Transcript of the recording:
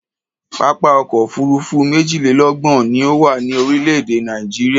Pápá ọkọ̀ òfuurufú méjìlélọ́gbọ̀n ni ó wà ní orílẹ̀-èdè Nàìjíríà.